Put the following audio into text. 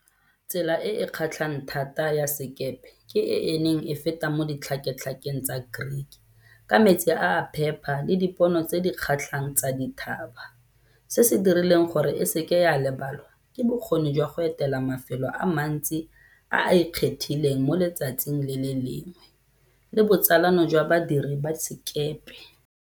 Tsela e e kgatlhang thata ya sekepe, ke e e neng e feta mo ditlhakatlhakeng tsa Greek, ka metsi a a phepa le dipono tse di kgatlhang tsa dithaba. Se se dirileng gore e se ke ya lebalwa, ke bokgoni jwa go etela mafelo a mantsi a a ikgethileng mo letsatsing le le lengwe le botsalano jwa badiri ba sekepe.